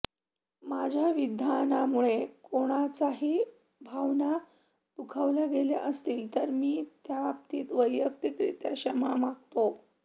माझ्या विधानामुळे कोणाच्याही भावना दुखावल्या गेल्या असतील तर मी त्याबद्दल वैयक्तिकरित्या क्षमा मागतो